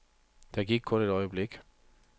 Der gik kun et øjeblik.